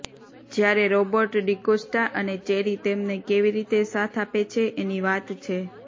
જ્યારે રોબર્ટ ડિકોસ્ટા અને ચેરી તેમને કેવી રીતે સાથ આપે છે એની વાત છે